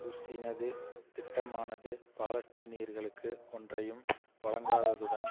push இனது திட்டமானது பாலஸ்தீனயர்களுக்கு ஒன்றையும் வழங்காததுடன்